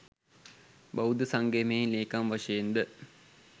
බෞද්ධ සංගමයෙහි ලේකම් වශයෙන්ද